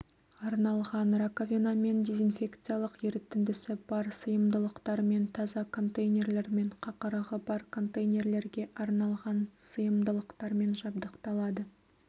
арналған раковинамен дезинфекциялық ерітіндісі бар сыйымдылықтармен таза контейнерлер мен қақырығы бар контейнерлерге арналған сыйымдылықтармен жабдықталады